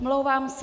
Omlouvám se.